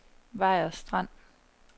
Vejers Strand